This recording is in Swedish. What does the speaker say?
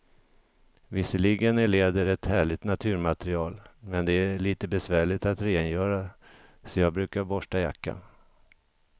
Visserligen är läder ett härligt naturmaterial, men det är lite besvärligt att rengöra, så jag brukar borsta jackan.